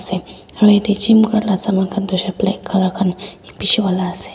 aru yate gym kuria laga saman khan toh hoishe black colour khan bishi wala ase.